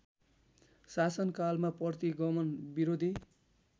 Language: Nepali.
शासनकालमा प्रतिगमन विरोधी